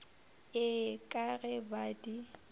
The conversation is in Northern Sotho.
ee ka ge ba di